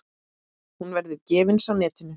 Hún verður gefins á netinu.